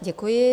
Děkuji.